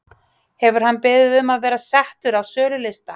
Hefur hann beðið um að vera settur á sölulista?